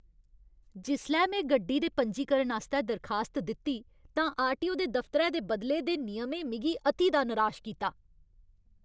जिसलै में गड्डी दे पंजीकरण आस्तै दरखास्त दित्ती तां आरटीओ दे दफतरै दे बदले दे नियमें मिगी अति दा निराश कीता।